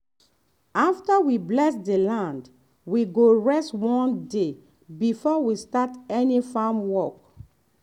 after we bless the land we go rest one day before we start any farm work.